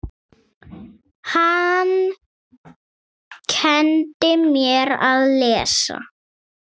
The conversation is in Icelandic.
Hann kenndi mér að lesa.